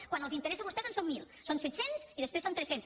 quan els interessa a vostès en són mil són set cents i després són tres cents